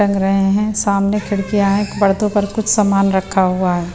चल रहे हैं सामने खिड़कियां है पड़तो पर कुछ सामान रखा हुआ है।